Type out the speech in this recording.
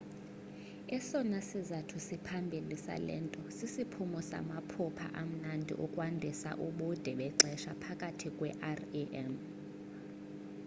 esona sizathu siphambili sale nto sisiphumo samaphupha amnandi okwandisa ubude bexesha phakathi kwe-rem